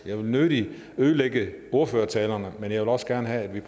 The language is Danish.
jeg vil nødig ødelægge ordførertalerne men jeg vil også gerne have at vi